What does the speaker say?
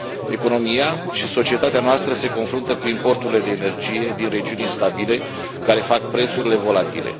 Economia și societatea noastră se confruntă cu importurile de energie din regiuni instabile, care fac prețurile volatile.